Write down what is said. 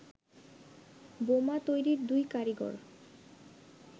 বোমা তৈরির দুই কারিগর